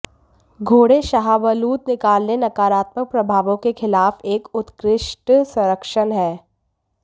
घोड़े शाहबलूत निकालने नकारात्मक प्रभावों के खिलाफ एक उत्कृष्ट संरक्षण है